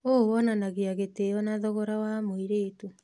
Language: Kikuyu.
ũũ wonanagia gĩtĩo na thogora wa mũirĩtu.